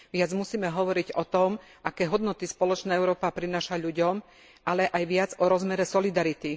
Viac musíme hovoriť o tom, aké hodnoty spoločná Európa prináša ľuďom, ale aj viac o rozmere solidarity.